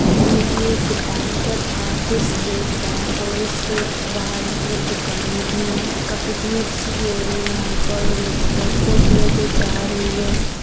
ये भी एक बैंक है भारतीय स्टेट बैंक और इसके बाहर मतलब दुकाने भी है और काफी भीड़ सी भी हो रही यहां पर और एक ऑटो भी है जो जा रही है।